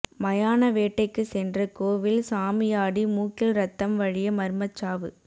மயான வேட்டைக்கு சென்ற கோவில் சாமியாடி மூக்கில் ரத்தம் வழிய மர்மச்சாவு